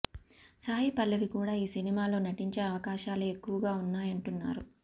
సాయి పల్లవి కూడా ఈ సినిమాలో నటించే అవకాశాలే ఎక్కువగా ఉన్నాయంటున్నారు